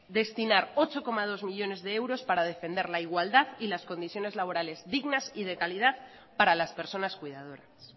destinar ocho coma dos millónes de euros para defender la igualdad y las condiciones laborales dignas y de calidad para las personas cuidadoras